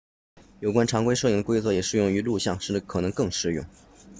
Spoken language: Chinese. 有关常规摄影的规则也适用于录像甚至可能更适用